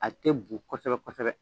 A tɛ bu kosɛbɛ kosɛbɛ.